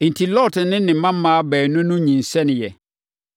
Enti, Lot ne ne mmammaa baanu no nyinsɛneeɛ.